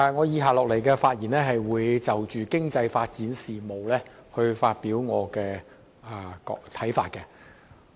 主席，我會就經濟發展事務，發表我的看法。